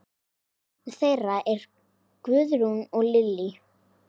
Barn þeirra er Guðrún Lillý.